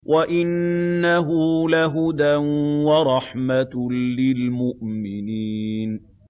وَإِنَّهُ لَهُدًى وَرَحْمَةٌ لِّلْمُؤْمِنِينَ